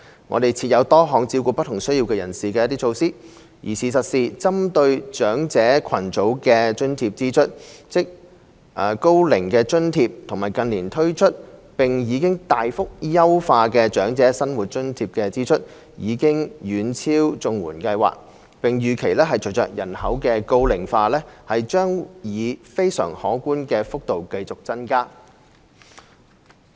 我們設有多項照顧不同需要人士的措施，而事實上，針對長者群組的津貼支出——即高齡津貼和近年推出並已大幅優化的長者生活津貼的支出——已遠超綜援計劃，並預期將隨着人口高齡化以非常可觀的幅度繼續增加。